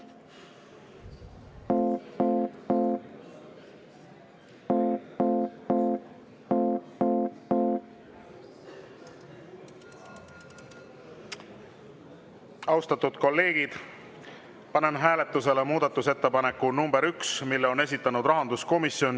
Austatud kolleegid, panen hääletusele muudatusettepaneku nr 1, mille on esitanud rahanduskomisjon.